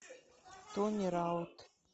тони раут